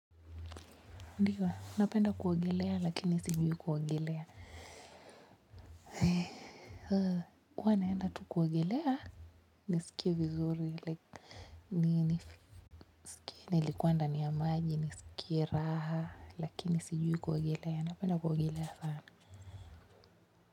Ndio napenda kuogelea lakini sijui kuogelea huwa naenda tu kuogelea nisikie vizuri like nini nilikua ndani ya maji nisikie raha lakini sijui kuogelea napenda kuogelea sana.